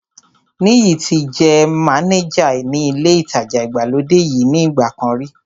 Níyì ti jẹ́ mánéjà ní ilé ìtajà ìgbàlódé yìí ní ìgbà kan rí